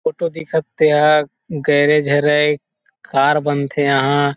photo दिखत तेहा garage हरे कार बनथे एहाँ --